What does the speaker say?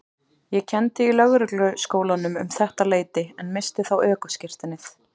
Ég kenndi í Lögregluskólanum um þetta leyti en missti þá ökuskírteinið.